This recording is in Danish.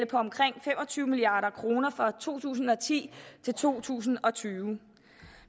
på omkring fem og tyve milliard kroner fra to tusind og ti til to tusind og tyve